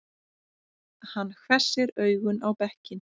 Hann hvessir augun á bekkinn.